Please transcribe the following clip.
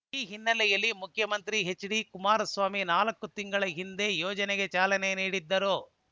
ಈ ಹಿನ್ನೆಲೆಯಲ್ಲಿ ಮುಖ್ಯಮಂತ್ರಿ ಎಚ್‌ಡಿಕುಮಾರಸ್ವಾಮಿ ನಾಲ್ಕು ತಿಂಗಳ ಹಿಂದೆ ಯೋಜನೆಗೆ ಚಾಲನೆ ನೀಡಿದ್ದರು